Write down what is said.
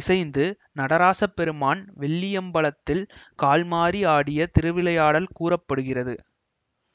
இசைந்து நடராசப் பெருமான் வெள்ளியம்பலத்தில் கால் மாறி ஆடிய திருவிளையாடல் கூற படுகிறது